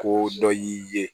Ko dɔ y'i ye